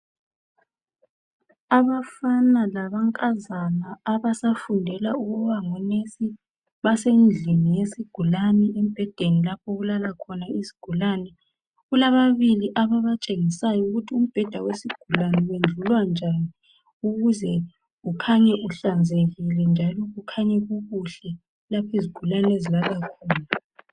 Abafana lamankazana abafundela ukuba ngomongikazi basendlini yesigulani embhedeni lapho okulala khona izigulane kulababili ababatshengisayo ukuthi umbheda wesigulane wendlulwa njani ukuze ukhanye uhlanzekile njalo kukhanye kukuhle lapho izigulane ezilala khona.